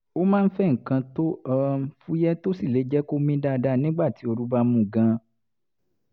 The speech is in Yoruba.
ó máa ń fẹ́ nǹkan tó um fúyẹ́ tó sì lè jẹ́ kó mí dáadáa nígbà tí ooru bá mú gan-an